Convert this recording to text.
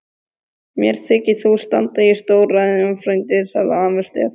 Mér þykir þú standa í stórræðum frændi, sagði afi Stefán.